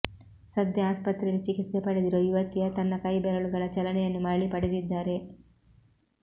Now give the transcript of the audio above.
ಸದ್ಯ ಆಸ್ಪತ್ರೆಯಲ್ಲಿ ಚಿಕಿತ್ಸೆ ಪಡೆದಿರುವ ಯುವತಿಯು ತನ್ನ ಕೈಬೆರಳುಗಳ ಚಲನೆಯನ್ನು ಮರಳಿ ಪಡೆದಿದ್ದಾರೆ